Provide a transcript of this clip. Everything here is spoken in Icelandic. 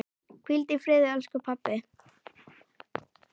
Hvíldu í friði elsku pabbi.